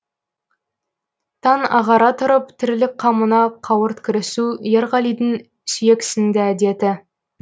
таң ағара тұрып тірлік қамына қауырт кірісу ерғалидың сүйексіңді әдеті